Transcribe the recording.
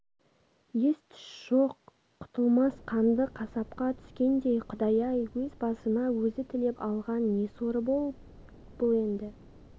ес-түс жоқ құтылмас қанды қасапқа түскендей құдай-ай өз басына өзі тілеп алған не соры бұл енді